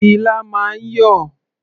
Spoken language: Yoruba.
Ilá máa ń yọ̀.